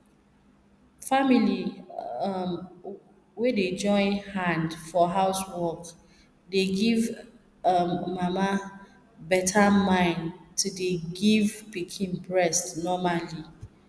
family um wey dey join hand for housework dey give um mama beta mind ti dey give pikin breast normally